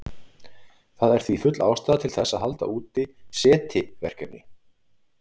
Það er því full ástæða til þess að halda úti SETI-verkefni.